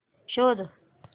शोध